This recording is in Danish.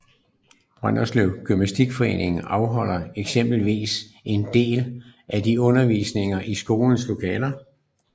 Brønderslev gymnastikforening afholder eksempelvis en del af sin undervisning i skolens lokaler